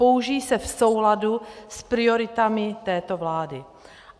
Použijí se v souladu s prioritami této vlády.